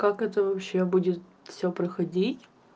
как это вообще будет все проходить